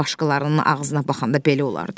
Başqalarının ağzına baxanda belə olar da.